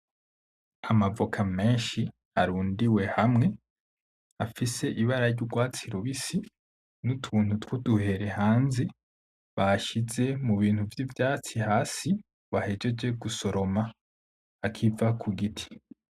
Amavoka menshi arundiwe hamwe, afise ibara ry'ugwatsi rubisi n'utuntu twuduhere hanze, bashize mu bintu vy'ivyatsi hasi bahejeje gusoroma, akiva ku giti.